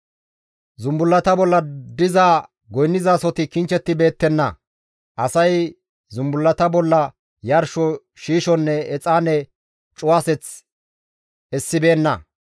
Zumbullata bolla diza goynnizasoti kichchibeettenna; asay zumbullata bolla yarsho shiishonne Exaane cuwaseth essibeenna.